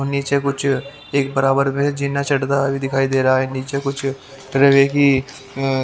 नीचे कुछ -- एक बराबर में जीना चढ़ताए दिखाई दे रहा है नीचे कुछ -- रवे की --